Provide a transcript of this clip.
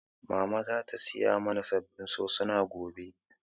Mama za ta saya mana sabbin sosuna gobe